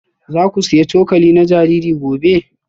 Za ku sayi cokali na jariri gobe?